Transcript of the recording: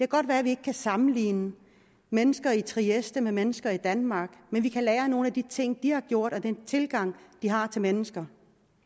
godt være at vi ikke kan sammenligne mennesker i trieste med mennesker i danmark men vi kan lære af nogle af de ting de har gjort og den tilgang de har til mennesker